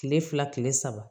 Tile fila tile saba